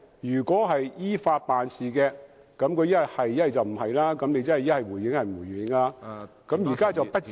如果是依法辦事，政府要麼就回應，要麼就不回應，但現在特首卻表示不至於......